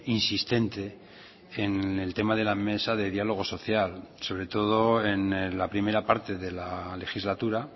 insistente en el tema de la mesa de diálogo social sobre todo en la primera parte de la legislatura